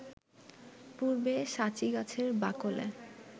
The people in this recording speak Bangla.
পূর্বে সাঁচি গাছের বাকলে